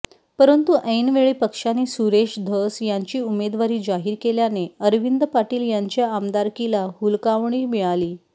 परंतु ऐनवेळी पक्षाने सुरेश धस यांची उमेदवारी जाहीर केल्याने अरविंद पाटील यांच्या आमदारकीला हुलकावणी मिळाली